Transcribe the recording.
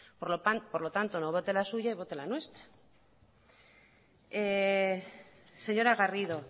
por lo tanto no vote la suya y vote la nuestra señora garrido